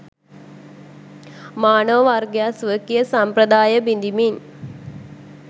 මානව වර්ගයා ස්වකීය සම්ප්‍රදාය බිඳිමින්